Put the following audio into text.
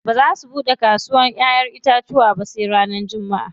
Ba za su buɗe kasawar ƴaƴen itacuwa sai ranar jummaʼa.